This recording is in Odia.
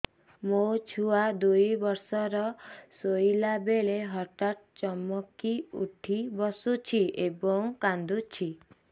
ମୋ ଛୁଆ ଦୁଇ ବର୍ଷର ଶୋଇଲା ବେଳେ ହଠାତ୍ ଚମକି ଉଠି ବସୁଛି ଏବଂ କାଂଦୁଛି